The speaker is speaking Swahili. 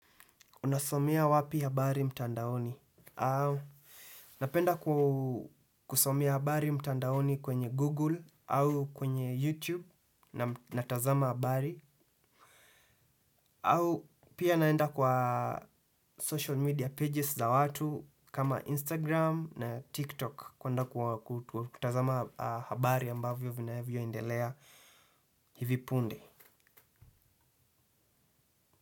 Unasomea wapi habari mtandaoni? Au, napenda kusomea habari mtandaoni kwenye Google au kwenye YouTube na tazama habari. Au, pia naenda kwa social media pages za watu kama Instagram na TikTok kwenda kutazama habari ambavyo vinavyoendelea hivi punde.